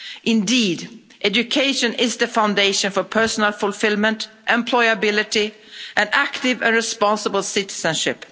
Indeed, education is the foundation for personal fulfilment, employability and active and responsible citizenship.